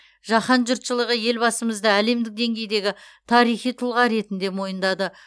жаһан жұртшылығы елбасымызды әлемдік деңгейдегі тарихи тұлға ретінде мойындады